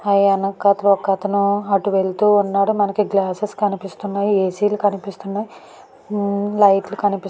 ఆ వెనకాతల ఒకతను అటు వెళ్తున్నాడు. మనకి గ్లాస్సెస్ కనిపిస్తున్నాయి. ఏ.సి. లు కనిపిస్తున్నాయి. లైట్స్ కనిపిస్తు --